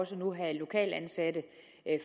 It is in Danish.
så nu have lokalt ansatte